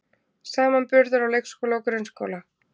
Samanburður á leikskóla og grunnskóla